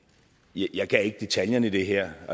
jeg kan ikke detaljerne i det her